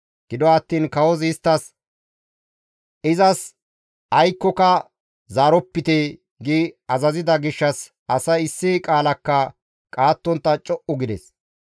Gido attiin kawozi isttas, «Izas aykkoka zaaropite» gi azazida gishshas asay issi qaalakka qaattontta co7u gides.